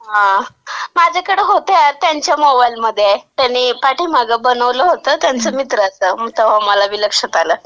हां, माझ्याकडं होते त्यांच्या मोबाईलमध्ये. त्यांनी पाठीमागं बनवलं होतं त्यांच्या मित्राचं.तवा मला बी लक्षात आलं.